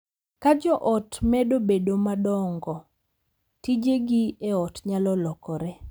Ka jo ot medo bedo madongo, tijegi e ot nyalo lokore,